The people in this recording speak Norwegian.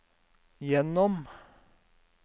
gjennom